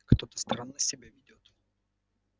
кто-то странно себя ведёт